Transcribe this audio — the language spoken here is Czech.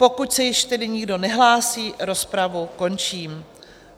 Pokud se již tedy nikdo nehlásí, rozpravu končím.